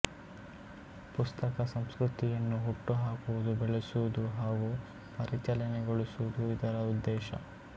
ಪುಸ್ತಕ ಸಂಸ್ಕೃತಿಯನ್ನು ಹುಟ್ಟುಹಾಕುವುದು ಬೆಳೆಸುವುದು ಹಾಗೂ ಪರಿಚಲನೆಗೊಳಿಸುವುದು ಇದರ ಉದ್ದೇಶ